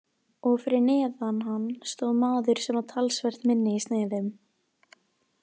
Og fyrir neðan hann stóð maður sem var talsvert minni í sniðum.